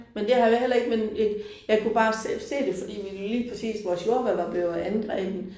Men det har jeg jo heller ikke men jeg kunne bare se det fordi lige præcis vores jordbær var blevet angrebet